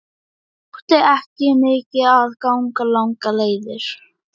Mér þótti ekki mikið að ganga langar leiðir.